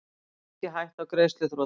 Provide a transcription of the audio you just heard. Ekki hætta á greiðsluþroti